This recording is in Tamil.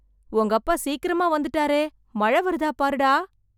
உங்கப்பா சீக்கிரமா வந்துட்டாரே... மழை வருதா பாருடா...